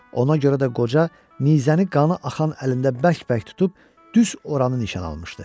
Ona görə də qoca nizəni qanı axan əlində bərk-bərk tutub, düz oranı nişan almışdı.